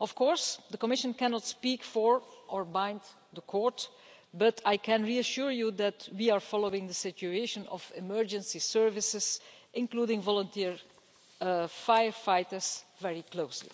Of course, the Commission cannot speak for, or bind, the Court, but I can reassure you that we are following the situation of emergency services, including volunteer firefighters, very closely.